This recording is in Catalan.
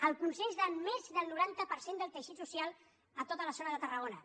el consens de més del noranta per cent del teixit social a tota la zona de tarragona